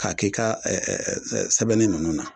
K'a k'i ka ɛ ɛ sɛbɛnnin nunnu na